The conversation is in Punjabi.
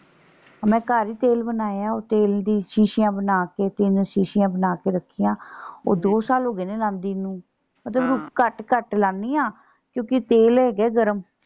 ਮੈਂ ਘਰ ਹੀ ਤੇਲ ਬਣਾਇਆ ਉਹ ਤੇਲ ਦੀ ਸ਼ੀਸ਼ਿਆਂ ਬਣਾ ਕੇ ਤਿੰਨ ਸ਼ੀਸ਼ਿਆਂ ਬਣਾ ਕੇ ਰੱਖੀਆਂ। ਉਹ ਦੋ ਸਾਲ ਹੋ ਗਏ ਨੇ ਲਾਂਦੀ ਨੂੰ। ਘੱਟ ਘੱਟ ਲਾਂਦੀ ਆ। ਕਿਉਂਕਿ ਤੇਲ ਹੈਗਾ ਏ ਗਰਮ।